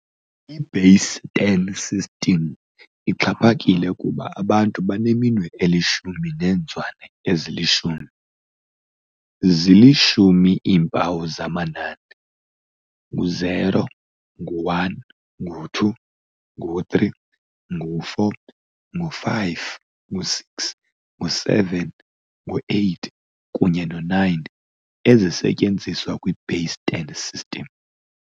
I-base ten number system ixhaphakile kuba abantu baneminwe elishumi neenzwane ezilishumi. Zili-10 iimpawu zamanani, 0, 1, 2, 3, 4, 5, 6, 7, 8, kunye no-9, ezisetyenziswa kwi-base ten number system.